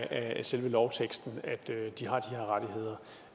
af selve lovteksten at de har de her rettigheder